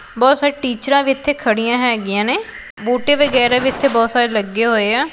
ਬਹੁਤ ਸਾਰੇ ਟੀਚਰਾਂ ਵੀ ਇਥੇ ਖੜੀਆਂ ਹੈਗੀਆਂ ਨੇ ਬੂਟੇ ਵਗੈਰਾ ਵੀ ਇਥੇ ਬਹੁਤ ਸਾਰੇ ਲੱਗੇ ਹੋਏ ਆ।